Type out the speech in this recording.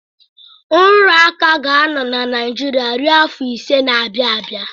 Nrụrụ aka ga na-anọ na Naijiria ruo afọ iri na-abịa abịa.